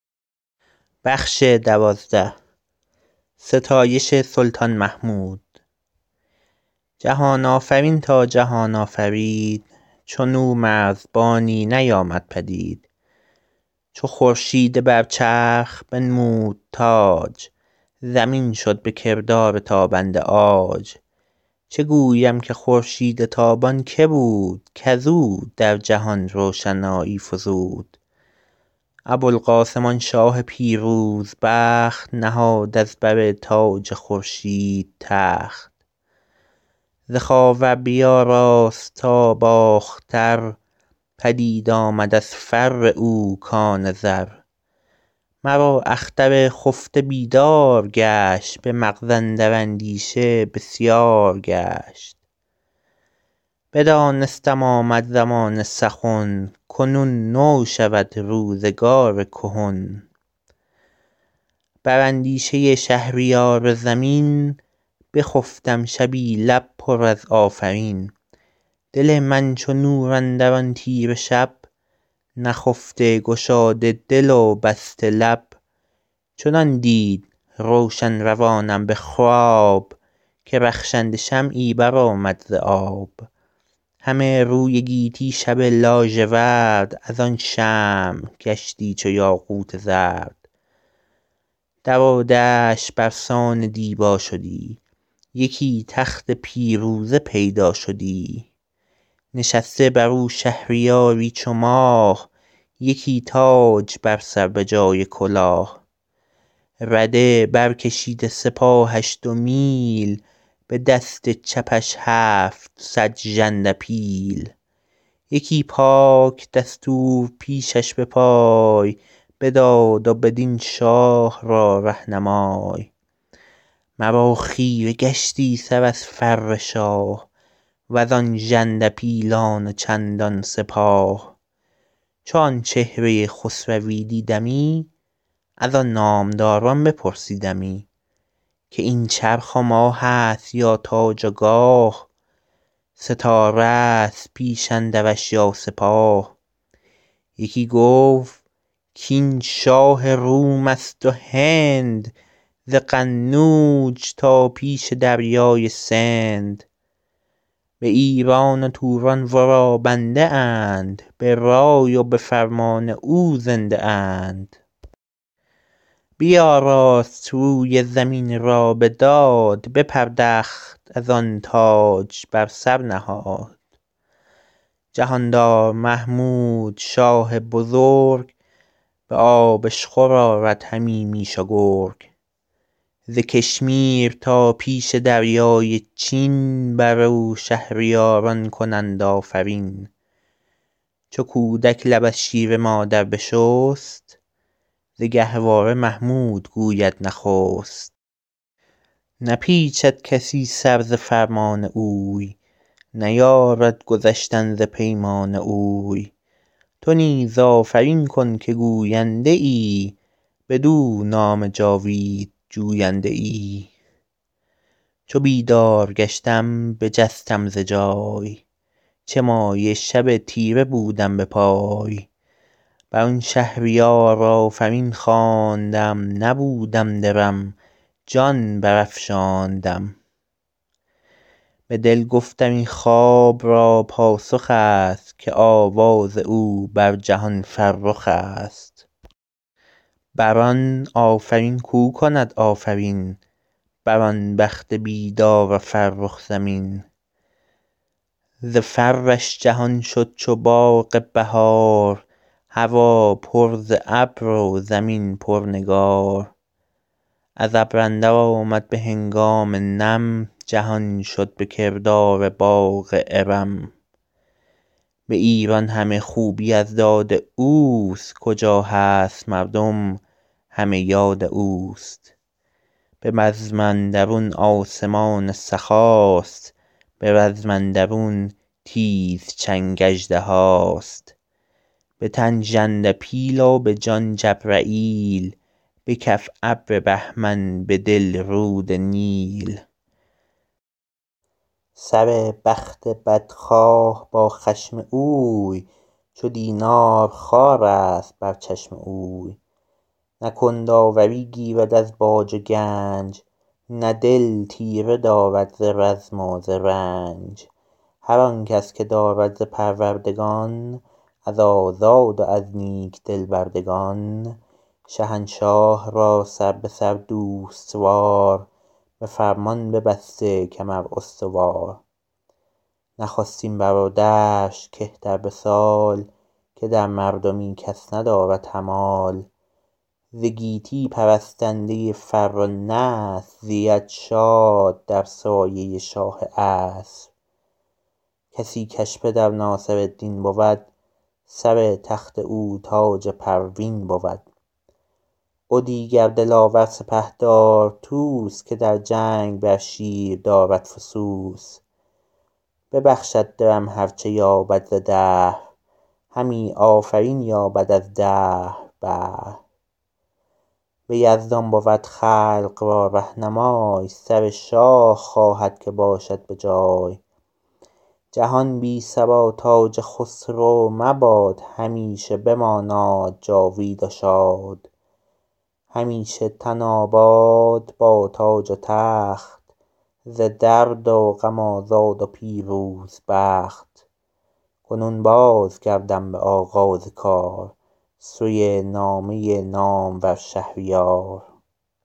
جهان آفرین تا جهان آفرید چون او مرزبانی نیامد پدید چو خورشید بر چرخ بنمود تاج زمین شد به کردار تابنده عاج چه گویم که خورشید تابان که بود کز او در جهان روشنایی فزود ابوالقاسم آن شاه پیروز بخت نهاد از بر تاج خورشید تخت ز خاور بیاراست تا باختر پدید آمد از فر او کان زر مرا اختر خفته بیدار گشت به مغز اندر اندیشه بسیار گشت بدانستم آمد زمان سخن کنون نو شود روزگار کهن بر اندیشه شهریار زمین بخفتم شبی لب پر از آفرین دل من چو نور اندر آن تیره شب نخفته گشاده دل و بسته لب چنان دید روشن روانم به خواب که رخشنده شمعی بر آمد ز آب همه روی گیتی شب لاژورد از آن شمع گشتی چو یاقوت زرد در و دشت بر سان دیبا شدی یکی تخت پیروزه پیدا شدی نشسته بر او شهریاری چو ماه یکی تاج بر سر به جای کلاه رده بر کشیده سپاهش دو میل به دست چپش هفتصد ژنده پیل یکی پاک دستور پیشش به پای به داد و به دین شاه را رهنمای مرا خیره گشتی سر از فر شاه و زان ژنده پیلان و چندان سپاه چو آن چهره خسروی دیدمی از آن نامداران بپرسیدمی که این چرخ و ماه است یا تاج و گاه ستاره است پیش اندرش یا سپاه یکی گفت کاین شاه روم است و هند ز قنوج تا پیش دریای سند به ایران و توران ورا بنده اند به رای و به فرمان او زنده اند بیاراست روی زمین را به داد بپردخت از آن تاج بر سر نهاد جهاندار محمود شاه بزرگ به آبشخور آرد همی میش و گرگ ز کشمیر تا پیش دریای چین بر او شهریاران کنند آفرین چو کودک لب از شیر مادر بشست ز گهواره محمود گوید نخست نپیچد کسی سر ز فرمان اوی نیارد گذشتن ز پیمان اوی تو نیز آفرین کن که گوینده ای بدو نام جاوید جوینده ای چو بیدار گشتم بجستم ز جای چه مایه شب تیره بودم به پای بر آن شهریار آفرین خواندم نبودم درم جان بر افشاندم به دل گفتم این خواب را پاسخ است که آواز او بر جهان فرخ است بر آن آفرین کو کند آفرین بر آن بخت بیدار و فرخ زمین ز فرش جهان شد چو باغ بهار هوا پر ز ابر و زمین پر نگار از ابر اندر آمد به هنگام نم جهان شد به کردار باغ ارم به ایران همه خوبی از داد اوست کجا هست مردم همه یاد اوست به بزم اندرون آسمان سخاست به رزم اندرون تیز چنگ اژدهاست به تن ژنده پیل و به جان جبرییل به کف ابر بهمن به دل رود نیل سر بخت بدخواه با خشم اوی چو دینار خوارست بر چشم اوی نه کند آوری گیرد از باج و گنج نه دل تیره دارد ز رزم و ز رنج هر آن کس که دارد ز پروردگان از آزاد و از نیک دل بردگان شهنشاه را سر به سر دوست وار به فرمان ببسته کمر استوار نخستین برادرش که تر به سال که در مردمی کس ندارد همال ز گیتی پرستنده فر و نصر زید شاد در سایه شاه عصر کسی کش پدر ناصرالدین بود سر تخت او تاج پروین بود و دیگر دلاور سپهدار طوس که در جنگ بر شیر دارد فسوس ببخشد درم هر چه یابد ز دهر همی آفرین یابد از دهر بهر به یزدان بود خلق را رهنمای سر شاه خواهد که باشد به جای جهان بی سر و تاج خسرو مباد همیشه بماناد جاوید و شاد همیشه تن آباد با تاج و تخت ز درد و غم آزاد و پیروز بخت کنون باز گردم به آغاز کار سوی نامه نامور شهریار